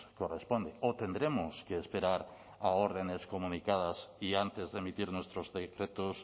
corresponde o tendremos que esperar a órdenes comunicadas y antes de emitir nuestros decretos